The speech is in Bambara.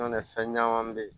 N'o tɛ fɛn caman be ye